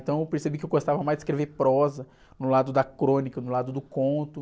Então eu percebi que eu gostava mais de escrever prosa, no lado da crônica, no lado do conto.